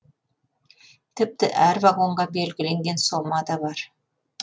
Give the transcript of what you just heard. тіпті әр вагонға белгіленген сома да бар